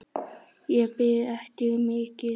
Ég bið ekki um mikið.